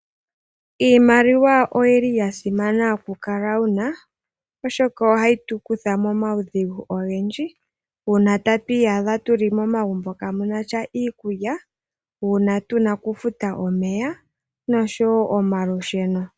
Iimaliwa oyili yasimana oku kala wuna oshoka ohayi tukuta momawu dhigu ogendji . Uuna tu iyadha tuli momagumbo kaamunasha iikulya . Uuna tuna okufuta omeya noshowo omalusheno.